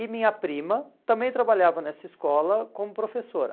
E minha prima também trabalhava nessa escola como professora.